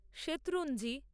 Shetrunji